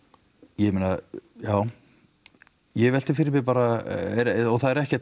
ég meina já ég velti fyrir mér bara og það er ekkert